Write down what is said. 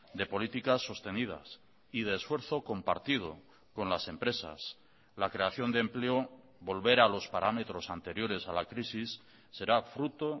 de políticas sostenidas y de esfuerzo compartido con las empresas la creación de empleo volver a los parámetros anteriores a la crisis será fruto